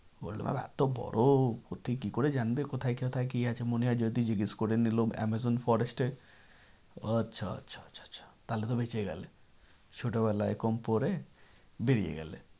World map এতো বড়ো ওতে কি করে জানবে কোথায় কোথায় কি আছে মনে হয় যদি জিজ্ঞেস করে আমাজন forest এ আচ্ছা আচ্ছা আচ্ছা আচ্ছা তাহলে তো বেঁচেই গেলে ছোটো বেলায় কম পড়ে বেড়িয়ে গেলে।